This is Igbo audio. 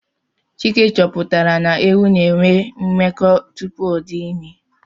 Chike chọpụtara na ewu na enwe mmekọ tupu ọdị ime